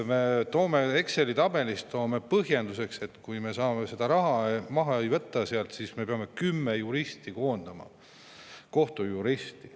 Me Exceli tabelis toome põhjenduseks, et kui me seda raha maha ei võta sealt, siis me peame kümme kohtujuristi koondama.